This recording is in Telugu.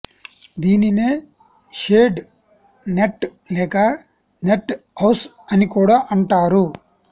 దీనినే షేడ్ నెట్ లేక నెట్ హౌస్ అని కూడా అంటారు